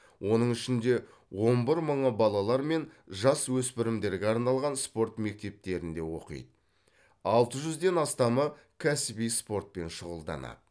оның ішінде он бір мыңы балалар мен жасөспірімдерге арналған спорт мектептерінде оқиды алты жүзден астамы кәсіби спортпен шұғылданады